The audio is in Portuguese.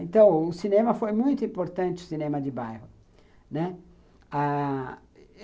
Então, o cinema foi muito importante, o cinema de bairro, né. Ah